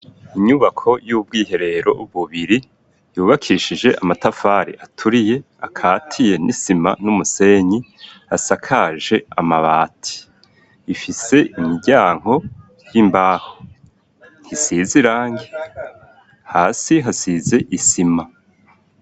Inyubako y'ubwiherero bubiri yubakishije amatafari aturiye akatiye n'isima n'umusenyi, asakaje amabati ifise imiryango y'imbaho isize irangi ,hasi hasize isima.